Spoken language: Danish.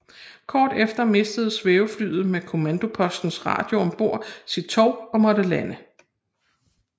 Kort efter mistede svæveflyet med kommandopostens radio om bord sit tov og måtte lande